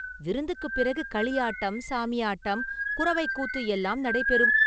விருந்துக்கு பிறகு களியாட்டம், சாமியாட்டம், குரவைக் கூத்து எல்லாம் நடைபெறும்.